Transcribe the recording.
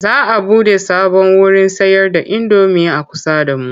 Za a buɗe sabon wurin sayarda indomi a kusa da mu.